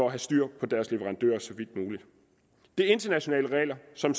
at have styr på deres leverandører det er internationale regler som